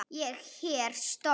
Ég er stór.